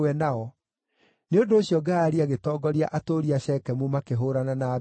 Nĩ ũndũ ũcio Gaali agĩtongoria atũũri a Shekemu makĩhũũrana na Abimeleku.